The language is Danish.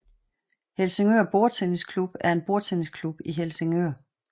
Helsingør Bordtennis Klub er en bordtennisklub i Helsingør